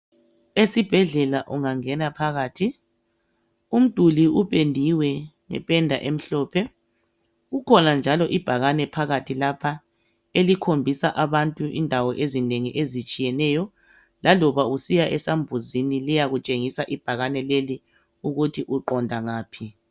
esibhedlela ungangena phakathi umduli upendiwe ngependa emhlophe kukhona njalo ibhakane phakathi lapha elikhombisa abantu indawo ezinengi ezitshiyeneyo laloba usiya esambuzini lisakutshengisa ibhakane leli ukuthi uqonda ngaphi